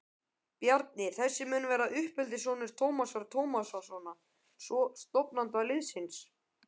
Bjarni þessi mun vera uppeldissonur Tómasar Tómassonar, stofnanda liðsins.